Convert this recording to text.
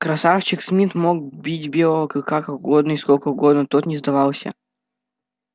красавчик смит мог бить белого клыка как угодно и сколько угодно тот не сдавался